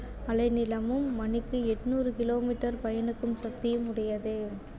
அலை நீளமும் மணிக்கு எண்ணூறு kilometer பயணிக்கும் சக்தியும் உடையது